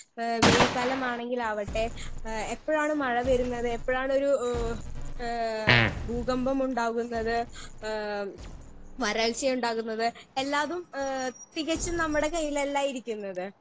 Speaker 1 ഏ വെയിൽ കാലമാണെങ്കിലാവട്ടെ ഏ എപ്പഴാണ് മഴ വരുന്നത് എപ്പഴാണൊരു ഏ ഏ ഭൂകമ്പമുണ്ടാകുന്നത് ഏ വരൾച്ചയുണ്ടാകുന്നത് എല്ലാതും ഏ തികച്ചും നമ്മടെ കയ്യിലല്ല ഇരിക്കുന്നത്.